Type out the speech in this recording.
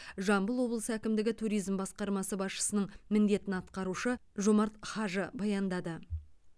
жамбыл облысы әкімдігі туризм басқармасы басшысының міндетін атқарушы жомарт хажы баяндады